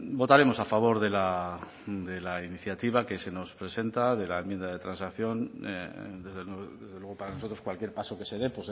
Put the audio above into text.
votaremos a favor de la iniciativa que se nos presenta de la enmienda de transacción desde luego para nosotros cualquier paso que se dé